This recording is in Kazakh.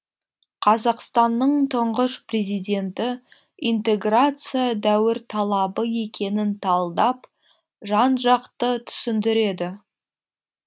қазақстанның тұңғыш президенті интеграция дәуір талабы екенін талдап жан жақты түсіндіреді